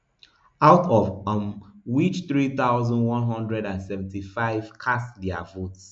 out of um which which three thousand, one hundred and seventy-five cast dia votes